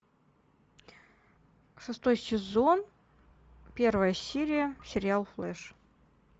шестой сезон первая серия сериал флэш